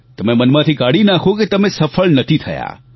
તમે મનમાંથી કાઢી નાખો કે તમે સફળ નથી થયા